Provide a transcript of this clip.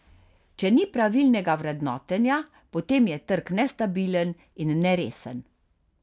Če ni pravilnega vrednotenja, potem je trg nestabilen in neresen.